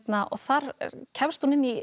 þar kemst hún inn í